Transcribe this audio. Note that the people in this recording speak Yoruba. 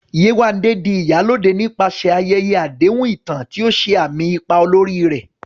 Yewande di "Iyalode" nípasẹ̀ ayẹyẹ àdéhùn ìtàn, tí ó ṣe àmì ipa olórí rẹ̀.